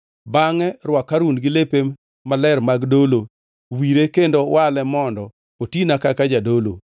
Bangʼe rwak Harun gi lepe maler mag dolo, wire kendo wale mondo otina kaka jadolo.